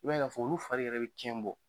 I b'a ye k'a fɔ olu fari yɛrɛ bɛ kɛn bɔ.